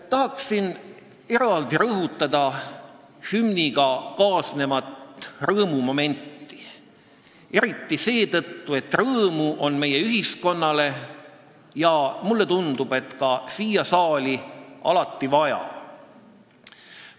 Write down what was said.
Tahan eraldi rõhutada hümniga kaasnevat rõõmumomenti, eriti seetõttu, et rõõmu on meie ühiskonnas ja mulle tundub, et ka siin saalis, alati vaja.